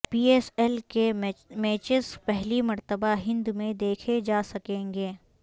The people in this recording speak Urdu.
پی ایس ایل کے میچز پہلی مرتبہ ہند میں دیکھے جا سکیں گے